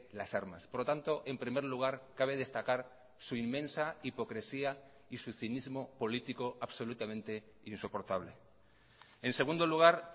las armas por lo tanto en primer lugar cabe destacar su inmensa hipocresía y su cinismo político absolutamente insoportable en segundo lugar